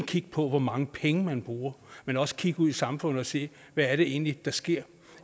kigge på hvor mange penge man bruger men også kigge ud i samfundet og sige hvad er det egentlig der sker